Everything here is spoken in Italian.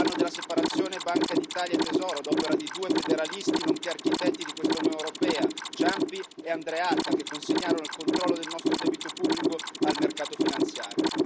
è l'anno della separazione tra la Banca d'Italia e il ministero del Tesoro ad opera di due federalisti, nonché architetti di questa Unione europea, Ciampi e Andreatta, che consegnarono il controllo del nostro debito pubblico al mercato finanziario.